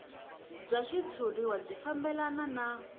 bya xitshuriwa byi fambelana na